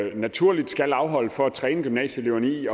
naturligvis skal afholde for at træne gymnasieeleverne i